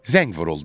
Zəng vuruldu.